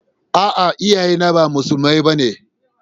A'a, iyaye na ba musulmai ba ne.